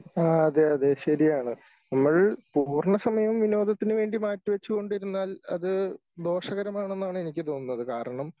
ആ അതെ അതെ ശരിയാണ് നമ്മൾ പൂർണസമയം വിനോദത്തിനു വേണ്ടി മാറ്റി വെച്ചു കൊണ്ടിരുന്നാൽ അത് ദോഷകരമാണെന്നാണ് എനിക്ക് തോന്നുന്നത് കാരണം